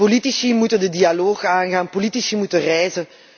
Politici moeten de dialoog aangaan, politici moeten reizen.